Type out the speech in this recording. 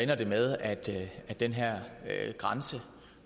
det med at at den her grænse